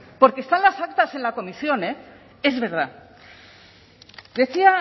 porque están las actas en la comisión es verdad decía